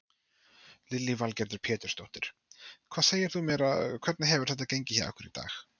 Lillý Valgerður Pétursdóttir: Hvað segir þú mér hvernig hefur þetta gengið hjá ykkur í dag?